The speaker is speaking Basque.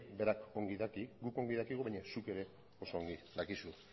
berak ongi daki guk ongi dakigu baina zuk ere oso ongi dakizu